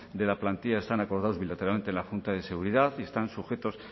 de la plantilla están acordados bilateralmente en la junta de seguridad y están sujetos